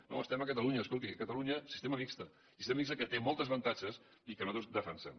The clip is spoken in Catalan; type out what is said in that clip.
no estem a catalunya escolti a catalunya sistema mixt i sistema mixt que té molts avantatges i que nosaltres defensem